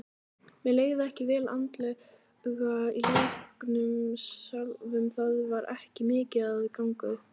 Mér leið ekki vel andlega í leiknum sjálfum, það var ekki mikið að ganga upp.